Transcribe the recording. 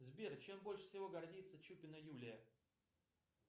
сбер чем больше всего гордится чупина юлия